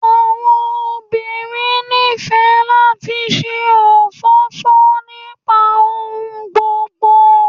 Àwọn òbirin nife láti ṣe ofọ́fọ́ nipa ohùn gbogbo